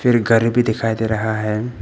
एक गाड़ी भी दिखाई दे रहा है।